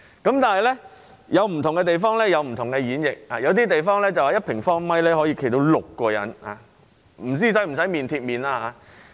不過，不同地方有不同演繹，有些地方認為1平方米可站6人，但不知是否要面貼面。